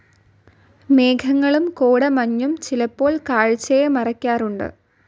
മേഘങ്ങളും കോടമഞ്ഞും ചിലപ്പോൾ കാഴ്ചയെ മറക്കാറുണ്ട്.